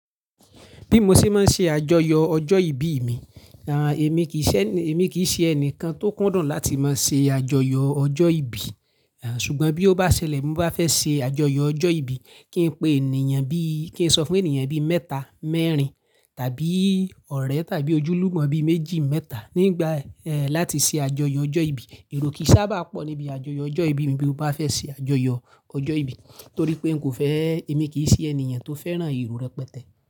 Bí mo ṣe máa ṣe àjọyọ̀ ọjọ́ ìbí mi, à, èmi kì í ṣe, èmi kì í ṣe ẹni kan tó kúndùn láti máa ṣe àjọyọ̀ ọjọ́ ìbí. À, ṣùgbọ́n bí ó bá ṣẹlẹ̀ mo bá fẹ́ ṣe àjọyọ̀ ọjọ́ ìbí, kí n pe ènìyàn bí, kí n sọ fún ènìyàn bí mẹ́ta, mẹ́rin tàbí ọ̀rẹ́ tàbí ojúlùmọ̀ bí méjì, mẹ́ta nígbà, ẹ́, láti ṣe àjọyọ̀ ọjọ́ ìbí. Èrò kì í sábà pọ̀ níbi àjọyọ̀ ọjọ́ ìbí mí bí mo bá fẹ́ ṣe àjọyọ̀ ọjọ́ ìbí torí pé n kò fẹ́, èmi kì í ṣe ènìyàn tó fẹ́ràn ìró rẹpẹtẹ.